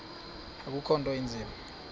akukho nto inzima